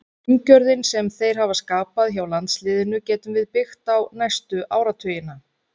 Umgjörðin sem þeir hafa skapað hjá landsliðinu getum við byggt á næstu áratugina.